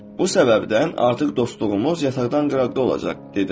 Bu səbəbdən artıq dostluğumuz yataqdan qıraqda olacaq, dedim.